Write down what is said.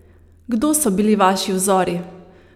Kdo so bili vaši vzori?